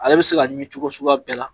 Ale bi se ka ɲimi cogo suguya bɛɛ la